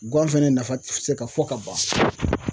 Guwan fɛnɛ nafa ti se ka fɔ ka ban.